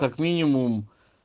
как минимум